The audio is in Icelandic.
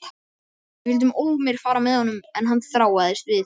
Við vildum ólmir fara með honum en hann þráaðist við.